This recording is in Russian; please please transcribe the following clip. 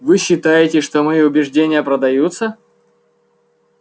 вы считаете что мои убеждения продаются